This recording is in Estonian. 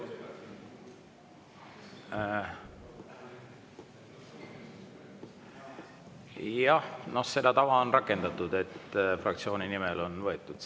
Jah, seda tava on rakendatud, et fraktsiooni nimel on sõna võetud.